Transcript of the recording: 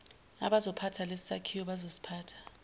abazophatha lesisakhiwo bazosiphatha